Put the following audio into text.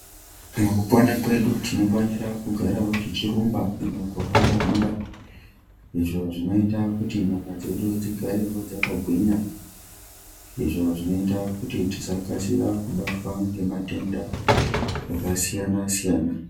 Mukupona kwedu tinofaniravo kugara tichirumba kana kuhamba-hamba. Izvo zvinota kuti nyama dzedu dzigarevo dzakagwinya. Izvo zvinota kuti tisakasira kubatwa ngematenda akasiyana-siyana.